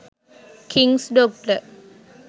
kings doctor